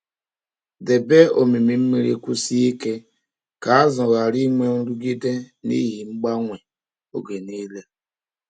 Debe omimi mmiri kwụsie ike ka azụ ghara inwe nrụgide n’ihi mgbanwe oge niile.